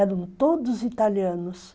Eram todos italianos.